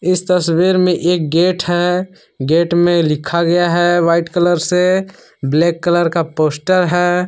इस तस्वीर में एक गेट है गेट में लिखा गया है व्हाइट कलर से ब्लैक कलर का पोस्टर है।